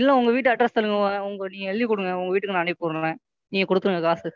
இல்லை உங்க வீட்டு Address சொல்லுங்க. நீங்க எழுதி கொடுங்க உங்க வீட்டுக்கு நான் அனுப்பி விடுறேன் நீங்க கொடுக்கணும் காசு,